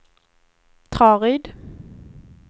Traryd